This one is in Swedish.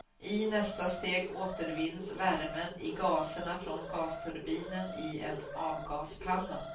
I nästa steg återvinns värmen i gaserna från gasturbinen i en avgaspanna.